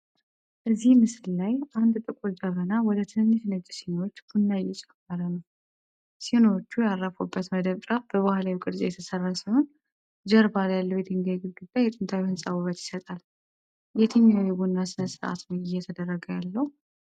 እዚህ ምስል ላይ አንድ ጥቁር ጀበና ወደ ትንንሽ ነጭ ሲኒዎች ቡና እየጨመረ ነው። ሲኒዎቹ ያረፉበት መደብ ጫፍ በባህላዊ ቅርጽ የተሠራ ሲሆን፣ ጀርባ ያለው የድንጋይ ግድግዳ የጥንታዊ ሕንፃ ውበት ይሰጣል፤ የትኛው የቡና ሥነ-ሥርዓት ነው እየተደረገ ያለው?